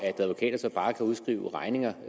at advokater så bare kan udskrive regninger